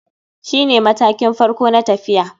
Shine matakin farko na tafiya.